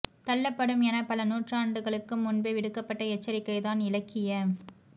தள்ளப்படும் என பல நுாற்றாண்டுகளுக்கு முன்பே விடுக்கப்பட்ட எச்சரிக்கை தான் இலக்கிய